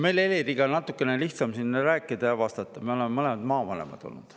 Meil Heliriga on natukene lihtsam siin rääkida, sest me oleme mõlemad maavanemad olnud.